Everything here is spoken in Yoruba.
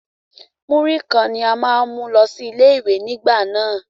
Múrí kan ní a máà ń mú lọ sí ilé ìwé nígbà náà.